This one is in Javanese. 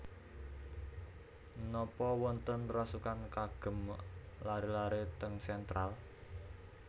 Nopo wonten rasukan kagem lare lare teng Central?